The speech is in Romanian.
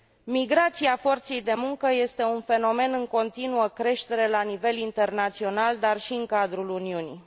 Migrația forței de muncă este un fenomen în continuă creștere la nivel internațional, dar și în cadrul Uniunii.